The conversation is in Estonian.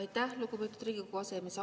Aitäh, lugupeetud Riigikogu aseesimees!